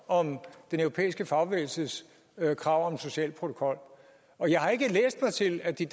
om den europæiske fagbevægelses krav om en social protokol og jeg har ikke læst mig til at de